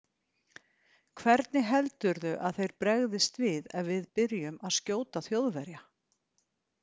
Hvernig heldurðu að þeir bregðist við ef við byrjum að skjóta Þjóðverja?